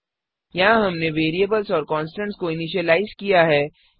यहाँ हमने वेरिएबल्स और कॉन्स्टन्ट्स को इनिशिलाइज किया है